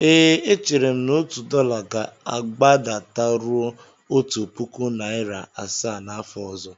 Ee, echere m na otu dọla ga-agbadataruo otu puku naịra asaa n'afọ ọzọ.